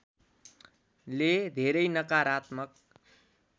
ले धेरै नकारात्मक